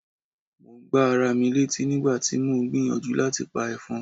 Mo gbá ara mi létí nígbà tí mò ń gbìyànjú láti pa ẹ̀fọn.